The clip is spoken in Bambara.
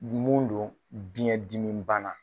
Mun don biyɛn dimi bana